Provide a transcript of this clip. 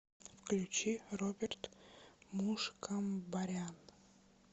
включи роберт мушкамбарян